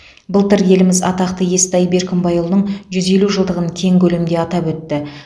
былтыр еліміз атақты естай беркімбайұлының жүз елу жылдығын кең көлемде атап өтті